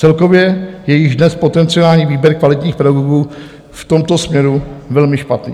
Celkově je již dnes potenciální výběr kvalitních pedagogů v tomto směru velmi špatný.